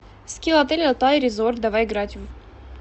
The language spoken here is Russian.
скилл отель алтай резорт давай играть в